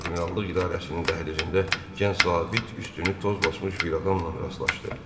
Admiralılıq idarəsinin dəhlizində gənc zabit üstünü toz basmış bir adamla rastlaşdı.